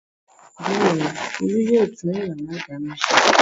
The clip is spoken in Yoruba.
Bẹ́ẹ̀ ni, Olú yóò tún ìyàrá-ìdáná ṣe.